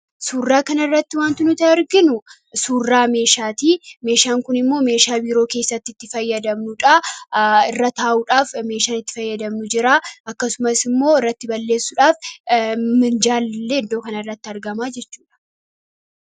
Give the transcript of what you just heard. Suuraa kanarratti wanti nuti arginu suuraa meeshaati. Meeshaan kun immoo meeshaa biiroo keessatti itti fayyadamnuudha. Irra taa'udhaaf meeshaan itti fayyadamnu jira. Akkasumas immoo, irratti barressuudhaaf minjalli illee iddoo kanatti argama jechuudha